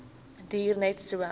duur net so